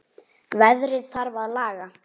Veðrið þarf að laga.